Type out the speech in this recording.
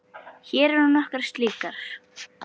Hér eru nokkrar slíkar